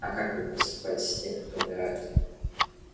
а как вы поступаете с теми кто умирает